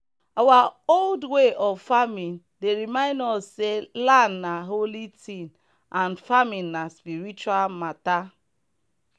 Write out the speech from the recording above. our old way of farming dey remind us say land na holy thing and farming na spiritual matter.